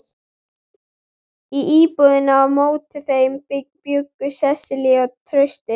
Í íbúðinni á móti þeim bjuggu Sesselía og Trausti.